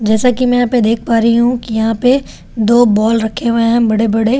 जैसा कि मैं यहां पे देख पा रही हूं कि यहां पे दो बॉल रखे हुए हैं बड़े बड़े।